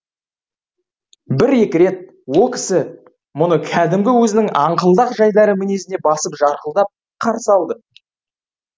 бір екі рет о кісі мұны кәдімгі өзінің аңқылдақ жайдары мінезіне басып жарқылдап қарсы алды